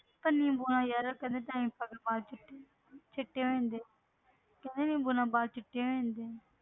ਪਰ ਨਿੰਬੂ ਨਾਲ ਯਾਰ ਕਹਿੰਦੇ ਦਹੀਂ ਪਾ ਕੇ ਵਾਲ ਚਿੱਟੇ ਚਿੱਟੇ ਹੋ ਜਾਂਦੇ ਆ ਕਹਿੰਦੇ ਨਿੰਬੂ ਨਾਲ ਵਾਲ ਚਿੱਟੇ ਹੋ ਜਾਂਦੇ ਆ।